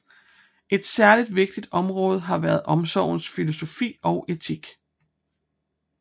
Et særligt vigtigt område har været omsorgens filosofi og etik